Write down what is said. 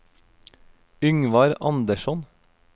Yngvar Andersson